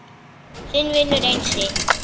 Þinn vinur Einsi